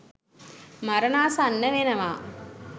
මරණාසන්න වෙනවා.